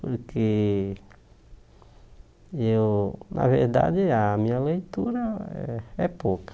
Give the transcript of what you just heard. Porque eu, na verdade, a minha leitura é é pouca.